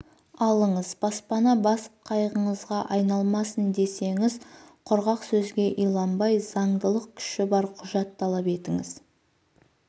алыңыз баспана бас қайғыңызға айналмасын десеңіз құрғақ сөзге иланбай заңдылық күші бар құжат талап етіңіз